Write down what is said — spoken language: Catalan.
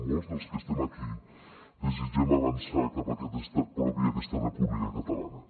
molts dels que estem aquí desitgem avançar cap aquest estat propi i aquesta república catalana